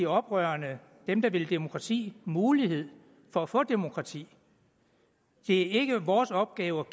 oprørerne dem der vil demokrati mulighed for at få demokrati det er ikke vores opgave